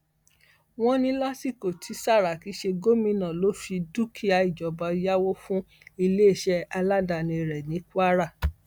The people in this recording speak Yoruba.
wọn ní lásìkò tí sàràkí ń ṣe gómìnà ló fi dúkìá ìjọba yáwó fún iléeṣẹ aládàáni rẹ ní kwara